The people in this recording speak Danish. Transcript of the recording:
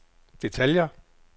detaljer